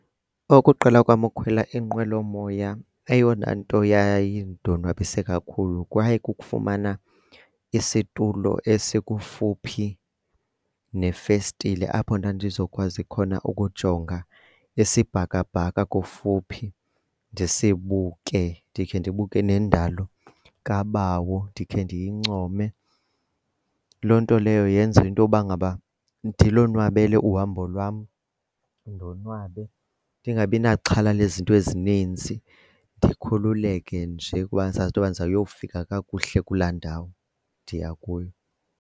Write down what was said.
Ukuqala kwam ukukhwela inqwelomoya eyona nto yayindonwabise kakhulu kwakukufumana isitulo esikufuphi nefestile apho ndandizokwazi khona ukujonga isibhakabhaka kofuphi ndisibuke, ndikhe ndibuke nendalo kabawo ndikhe ndiyincome. Loo nto leyo yenze intoba ngaba ndilonwabele uhambo lwam, ndonwabe ndingabi naxhala lezinto ezininzi, ndikhululeke nje ukuba ndisazi into yoba ndizawuyofika kakuhle kulaa ndawo ndiya kuyo.